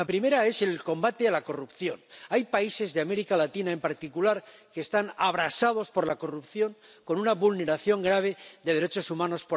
La primera es el combate de la corrupción. Hay países de América Latina en particular que están abrasados por la corrupción, con una vulneración grave de los derechos humanos.